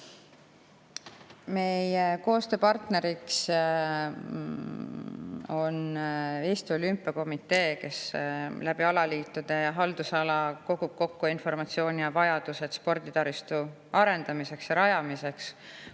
Meie koostööpartner on Eesti Olümpiakomitee, kes alaliitude haldusalast kogub kokku informatsiooni, millised on vajadused sporditaristu arendamiseks ja rajamiseks.